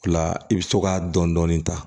O la i bɛ to ka dɔni dɔni ta